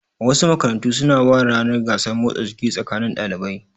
Wasu makarantun su na ware ranar gasar motsa jiki tsakanin ɗalibai